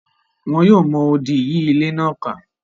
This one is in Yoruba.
Wọn yóò mọ odì yí ilé náà ká.